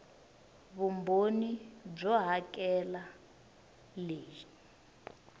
vumbhoni byo hakela r leyi